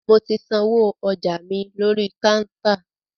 Mo ti sanwó ọjà mi lórí kántà.